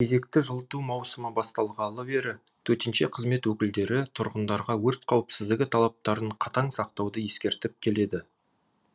кезекті жылыту маусымы басталғалы бері төтенше қызмет өкілдері тұрғындарға өрт қауіпсіздігі талаптарын қатаң сақтауды ескертіп келеді